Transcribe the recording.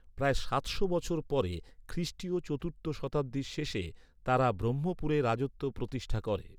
প্রায় সাতশো বছর পরে, খ্রিষ্টীয় চতুর্থ শতাব্দীর শেষে, তাঁরা ব্রহ্মপুরে রাজত্ব প্রতিষ্ঠা করে।